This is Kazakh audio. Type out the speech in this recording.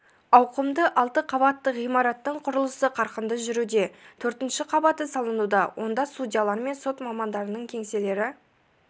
ауқымды алты қабатты ғимараттың құрылысы қарқынды жүруде төртінші қабаты салынуда онда судьялар мен сот мамандарының кеңселері